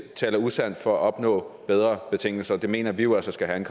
taler usandt for at opnå bedre betingelser og det mener vi jo altså skal have en